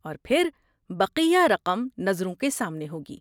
اور پھر بقیہ رقم نظروں کے سامنے ہوگی۔